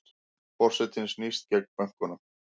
Forsetinn snýst gegn bönkunum